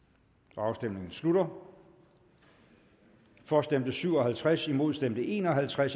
afstemningen slutter for stemte syv og halvtreds imod stemte en og halvtreds